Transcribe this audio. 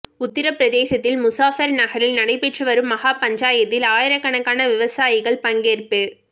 உத்தரப்பிரதேசத்தின் முசாபர் நகரில் நடைபெற்று வரும் மகா பஞ்சாயத்தில் ஆயிரக்கணக்கான விவசாயிகள் பங்கேற்ப்பு